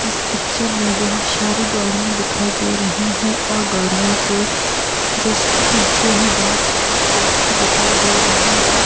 इस पिक्चर मे बहूत शारी गाड़िया दिखाई दे रही हैं और गाड़ियों के जस्ट पिछे ही बहूत सारे पेड़ भी दिखाई दे रहे हैं ।